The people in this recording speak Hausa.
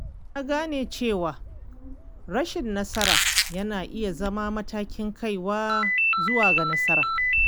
Na gane cewa rashin nasara yana iya zama matakin kaiwa zuwa ga nasara.